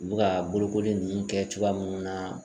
U bɛ ka bolokoli ninnu kɛ cogoya mun na.